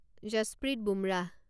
Jasprit Bumrah